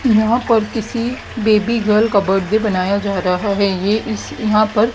यहां पर किसी बेबी गर्ल का बड्डे बनाया जा रहा है ये इस यहां पर--